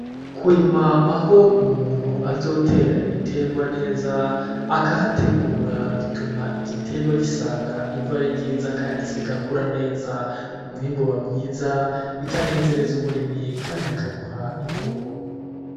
Kurima aho umuntu azotera ibitegwa neza akahategura bituma igitegwa gisanga ivu ari ryiza kandi kigakura neza, umwimbu uba mwiza bikanezereza umurimyi kandi bikamuha inyungu.